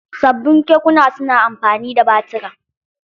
Sabbin kekuna su na amfani da batura.